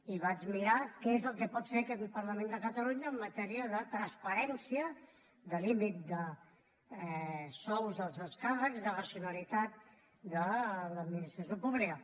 i vaig mirar què és el que pot fer aquest parlament de catalunya en matèria de transparència de límit de sous dels excàrrecs de racionalitat de l’administració pública